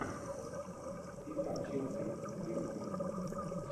игра челси с ирисками